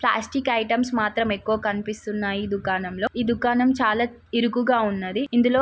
Plastic items మాత్రం ఎక్కువగా కనిపిస్తున్నాయి. దుకాణం లో ఈ దుకాణం చాలా ఇరుకుగా ఉన్నది. ఇందులో--